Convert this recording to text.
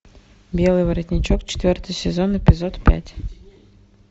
белый воротничок четвертый сезон эпизод пять